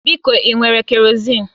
Biko ị nwere kerọzin?